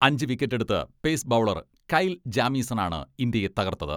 അഞ്ച് വിക്കറ്റെടുത്ത് pace bowler Kyle ജാമീസണാണ് ഇന്ത്യയെ തകർത്തത്.